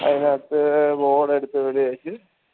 അതിനാത്ത്